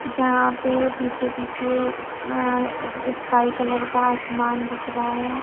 जहाँ पे पीछे पीछे माा स्काई कलर का आसमान दिख रहा है।